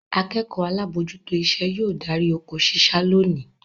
Akẹ́kọ̀ọ́ alábòójútó iṣẹ́ yóò darí oko ṣíṣá lónìí.